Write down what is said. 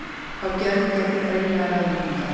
Fá gjörð í gegnum brenglaðar ráðleggingar